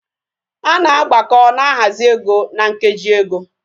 Ana agbako na ahazi ego na nkeji ego